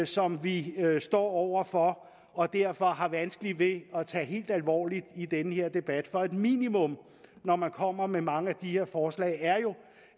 som vi står over for og derfor har vanskeligt ved at tage helt alvorligt i den her debat for et minimum når man kommer med mange af de her forslag er jo